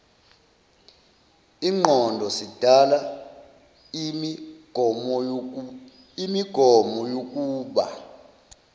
ingqondo sidala imigomoyokuba